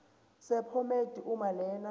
sephomedi uma lena